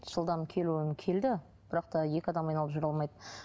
жылдам келуін келді бірақ та екі адам айналып жүре алмайды